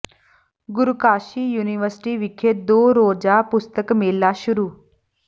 ਗੁਰੂ Kashi University ਵਿਖੇ ਦੋ ਰੋਜ਼ਾ ਪੁਸਤਕ ਮੇਲਾ ਸ਼ੁਰੂ